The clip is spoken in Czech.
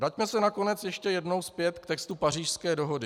Vraťme se nakonec ještě jednou zpět k textu Pařížské dohody.